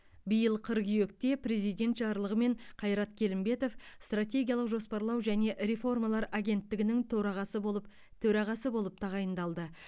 биыл қыркүйекте президент жарлығымен қайрат келімбетов стратегиялық жоспарлау және реформалар агенттігінің торағасы болып төрағасы болып тағайындалды